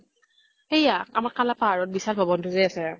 সেয়া আমাৰ কালা পাহাৰত বিশাল ভৱন তো যে আছে